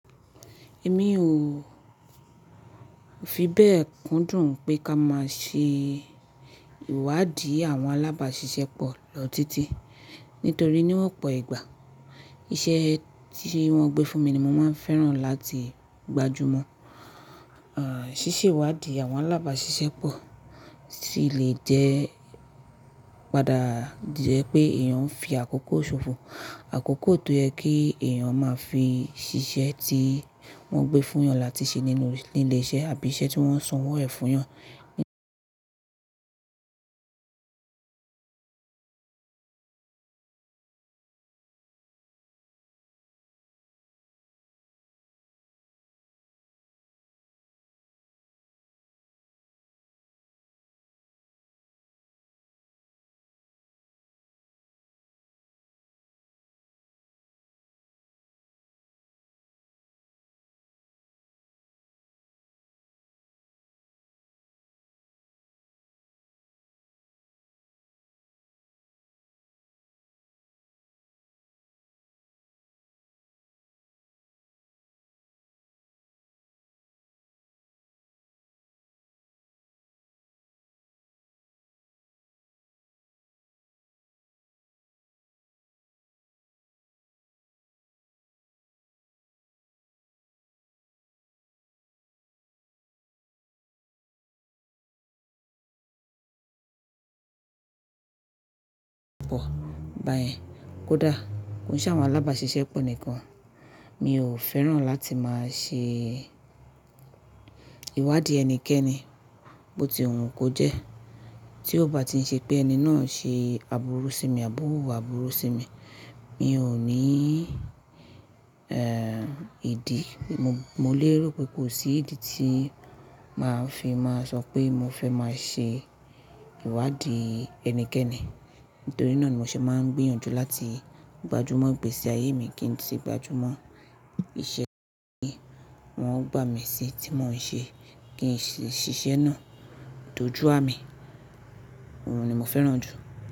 Èmi ò fi bẹ́ẹ̀ kún dùn pé ká máa ṣe ìwádìí àwọn alábàáṣiṣẹ́ pọ̀ lọ títí, nítorí níwọ́pọ̀ ìgbà iṣẹ́ tí wọ́n gbé fún mi ni mo máa ń fẹ́ràn láti gbajúmọ̀. Ṣíṣe ìwádìí àwọn alábàáṣiṣẹ́ pọ̀ sì lè jẹ́ padà di ẹ pé èèyàn ń fi àkókò ṣòfò, àkókò tó yẹ kí èèyàn máa fi ṣiṣẹ́ tí wọ́n gbé fún èèyàn láti ṣe nínú ilé iṣẹ́ àbí iṣẹ́ tí wọ́n sanwó ẹ̀ fún yàn. Pọ̀. Bàyẹ́n, kódà kò ń se àwọn alábàáṣiṣẹ́ pọ̀ nìkan, mi ò fẹ́ràn láti máa ṣe ìwádìí ẹnikẹ́ni, bó ti hun kó jẹ́. Tí ó bá ti ń ṣe pé ẹni náà ń ṣe àbúrú sí mi àbọ́ ò wù wà àbúrú sí mi, mi ò ní ìdí. Mo lè rò pé kò sí ìdí tí màá fi máa sọ pé mo fẹ́ máa ṣe ìwádìí ẹnikẹ́ni. Nítorí náà ni mo ṣe máa ń gbìyànjú láti gbajúmọ̀ ìgbèsi ayé mi, kí n tì gbajúmọ̀ iṣẹ́ tí wọ́n gbà mí sí tí mò ń ṣe kí sì ṣiṣẹ́ náà dojú à mi. Òun ni mo féràn jù.